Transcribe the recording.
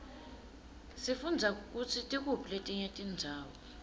sifundza kutsi tikuphi letinye tindzawo